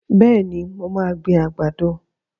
Bẹ́ẹ̀ni, mo máa gbin àgbàdo.